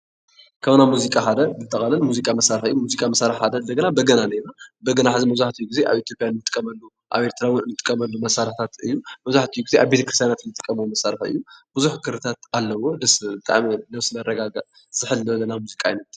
ካብ ናይ ሙዚቃ ሓደ ሙዚቃ መሳርሒ እዩ ሓደ እንደገና በገና ኣሎ እዩ። በገና ሕዚ ግዜ ቡዝሕ ኣብ ኢትዮጰያ ንጥቀመሉ ኣብ ኤርትራ እዉን ንጥቀሙ መሳርሒታት ኾይኑ መብዛሕቲኡ ግዜ ኣብ ቤተክርስትያናት እውን ንጥቀመሉ መሳርሒ እዩ፡፡ ቡዝሕ ክሪታት ኣለዎ፡፡ ብጣዕሚ ደስ ዝብል ዝሕል ዝበለ ሙዚቃ እዩ፡፡